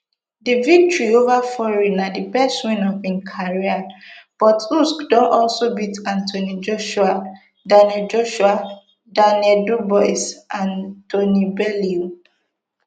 di victory ova fury na di best win of im career but usyk don also beat anthony joshua daniel joshua daniel dubois and tony bellew